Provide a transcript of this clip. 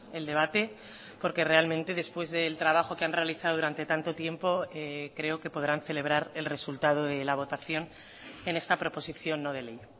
el debate porque realmente después del trabajo que han realizado durante tanto tiempo creo que podrán celebrar el resultado de la votación en esta proposición no de ley